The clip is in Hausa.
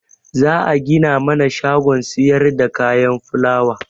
Za'a gina mana shagon siyarda kayan fulawa.